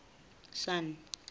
sun